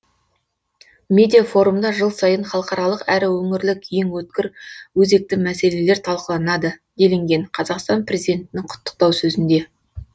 медиа форумда жыл сайын халықаралық әрі өңірлік ең өткір өзекті мәселелер талқыланады делінген қазақстан президентінің құттықтау сөзінде